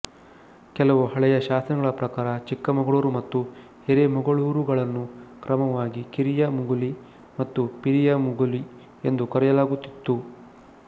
ಕೆಲವು ಹಳೆಯ ಶಾಸನಗಳ ಪ್ರಕಾರ ಚಿಕ್ಕಮಗಳೂರು ಮತ್ತು ಹಿರೇಮಗಳೂರುಗಳನ್ನು ಕ್ರಮವಾಗಿ ಕಿರಿಯ ಮುಗುಲಿ ಮತ್ತು ಪಿರಿಯ ಮುಗುಲಿ ಎಂದು ಕರೆಯಲಾಗುತ್ತಿತ್ತು